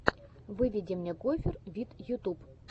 выведи мне гофер вид ютуб